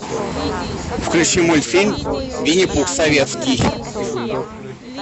включи мультфильм винни пух советский